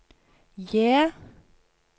J